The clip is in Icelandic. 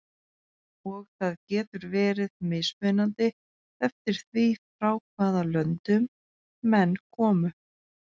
Og það getur verið mismunandi eftir því frá hvaða löndum menn komu.